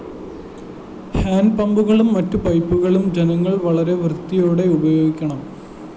ഹാന്‍ഡ്പമ്പുകളും മറ്റു പൈപ്പുകളും ജനങ്ങള്‍ വളരെ വൃത്തിയോടെ ഉപയോഗിക്കണം